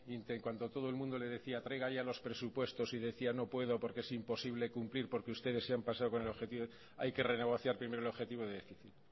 cuando todo el mundo le decía traiga ya los presupuestos y decía no puedo porque es imposible cumplir porque ustedes se han pasado con el objetivo hay que renegociar primero el objetivo de déficit